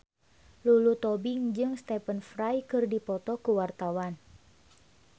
Lulu Tobing jeung Stephen Fry keur dipoto ku wartawan